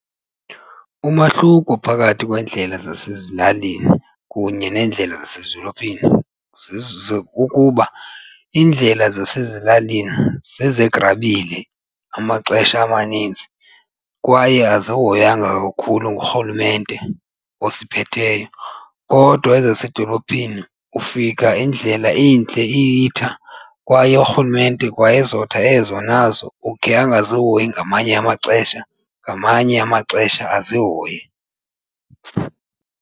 Umahluko phakathi kweendlela zasezilalini kunye neendlela zasezidolophini kukuba iindlela zasezilalini zezegrabile amaxesha amaninzi kwaye azihoywanga kakhulu ngurhulumente osiphetheyo. Kodwa ezasedolophini ufika indlela intle iyitha kwaye urhulumente kwaezotha ezo nazo ukhe angazihoyi ngamanye amaxesha, ngamanye amaxesha azihoye.